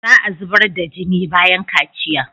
Za a zubar da jini bayan kaciya.